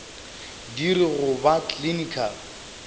di re go ba clinical